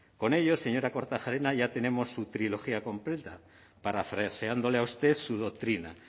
con ello señora kortajarena ya tenemos su trilogía completa parafraseándole a usted su doctrina